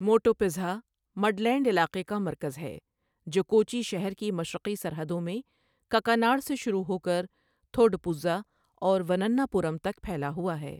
Muvattupuzha midland علاقے کا مرکز ہے جو کوچی شہر کی مشرقی سرحدوں میں ککاناڑ سے شروع ہو کر تھوڈپوزا اور ونناپورم تک پھیلا ہوا ہے۔